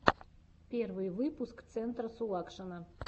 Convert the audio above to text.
первый выпуск центра сулакшина